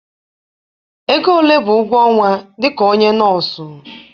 Ego ole bụ ụgwọ ọnwa dịka onye nọọsụ.